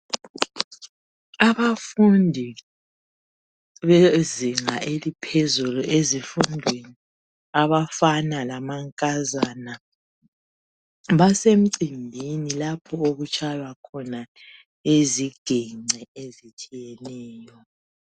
Abafundi bezinga eliphezulu ezifundweni abafana lamankazana basemcimbini lapho okutshaywa khona iziginci ezitshiyeneyo.